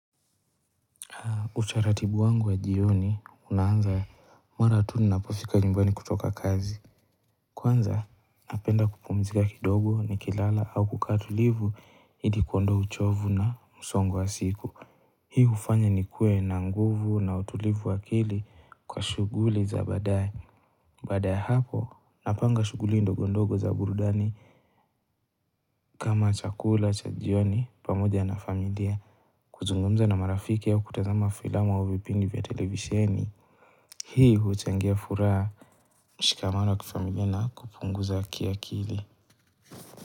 Utaratibu wangu wa jioni unaanza mara tu ninapofika nyumbani kutoka kazi. Kwanza napenda kupumzika kidogo ni kilala au kukaa tulivu ili kuondoa uchovu na msongo wa siku. Hii ufanya ni kue na nguvu na utulivu wa akili kwa shuguli za badae Baada ya hapo napanga shuguli ndogondogo za burudani kama chakula cha jioni pamoja na familia. Kuzungumza na marafiki au kutazama filama au vipindi vya televisieni. Hii huuchangia furaha mshikamano wa kifamilia na kupunguza kiakili.